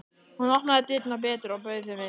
Hún opnaði dyrnar betur og bauð þeim inn.